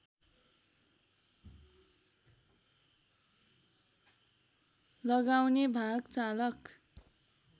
लगाउने भाग चालक